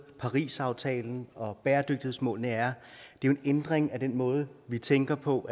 parisaftalen og bæredygtighedsmålene er en ændring af den måde vi tænker på